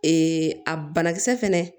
Ee a banakisɛ fɛnɛ